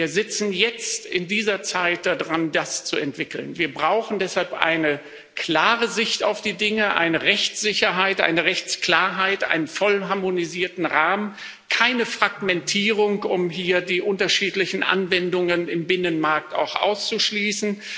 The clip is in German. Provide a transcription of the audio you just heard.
Wir sitzen jetzt in dieser Zeit da dran, das zu entwickeln. Wir brauchen deshalb eine klare Sicht auf die Dinge, eine Rechtssicherheit, eine Rechtsklarheit, einen voll harmonisierten Rahmen, keine Fragmentierung, um hier die unterschiedlichen Anwendungen im Binnenmarkt auch auszuschließen.